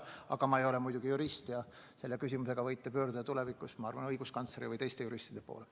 Aga ma ei ole jurist ja selle küsimusega võite pöörduda õiguskantsleri või teiste juristide poole.